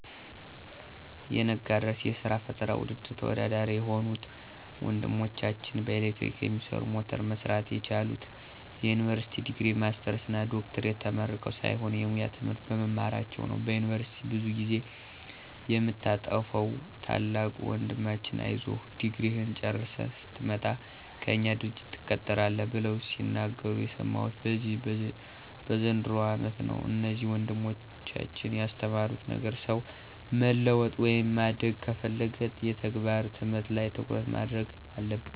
የነጋድራስ የስራ ፈጠራ ውድድር ተወዳዳሪ የሆኑት ወንድማማቾች በኤሌክትሪክ የሚሰራ ሞተር መስራት የቻሉት የዩኒቨርሲቲ ዲግሪ፣ ማስተርስ እና ዶክትሬት ተመርቀው ሳይሆን የሙያ ትምህርት በመማራቸው ነው። በዩኒቨርስቲ ብዙ ጊዜ የምታጠፋዉ ታላቁ ወንድማችን አይዞህ ድግሪህን ጨርሰህ ስትመጣ ከእኛ ድርጅት ትቀጠራለህ ብለው ሲናገሩ የሰማሁት በዚህ በዘንድሮው አመት ነው። እነዚህ ወንድማማቾች ያስተማሩት ነገር ሰው መለወጥ ወይም ማደግ ከፈለገ የተግባር ትምህርት ላይ ትኩረት ማድረግ አለበት።